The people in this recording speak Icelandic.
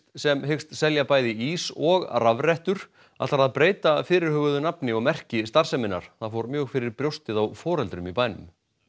sem hyggst selja bæði ís og rafrettur ætlar að breyta fyrirhuguðu nafni og merki starfseminnar það fór mjög fyrir brjóstið á foreldrum í bænum